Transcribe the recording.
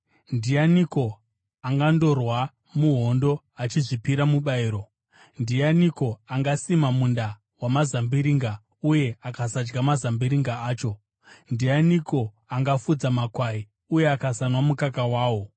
Ndianiko angandorwa muhondo achizviripira mubayiro? Ndianiko angasima munda wamazambiringa uye akasadya mazambiringa acho? Ndianiko angafudza makwai uye akasanwa mukaka wawo?